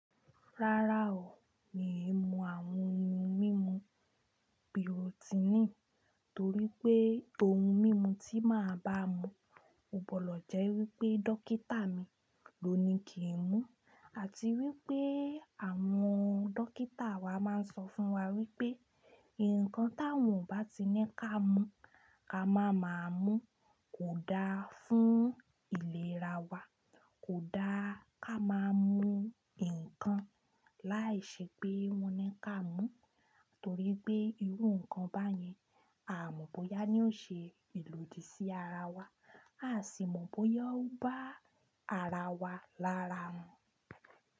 Rárá o, mi ò mú àwọn ohun mímu biotinì torí pé ohun mímu tí màá bá mú, ò pọ̀ lọ jẹ́ wípé dókítà mi ló ní kí n mú àti wípé àwọn dókítà wa máa ń sọ fún wa wípé, ǹkan táwọn ò bá ti ní ká mú ká máa máa mú, kò da fún ìlera wa, kò da ká máa mú ǹkan láìṣẹ pé wọ́n ní ká mú, torí pé irú ǹkan báyẹn a mọ̀ bóyá ni ó ṣe ìlòdì sí ara wa, a sì mọ̀ bóyá ó bá ara wa lára mu.